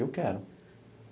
Eu quero.